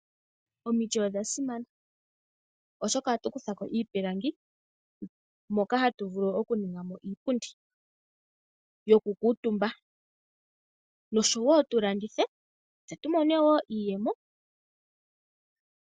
Omiti odha simana oshoka ohatu kuthako iipilangi mbyoka hayi longithwa okundulukapo iipundi yoku kuutumbwa noyo kulandithwa woo opo tu mone mo iiyemo.